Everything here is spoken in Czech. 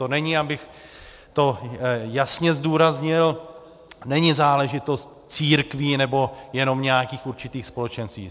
To není, abych to jasně zdůraznil, není záležitost církví nebo jenom nějakých určitých společenství.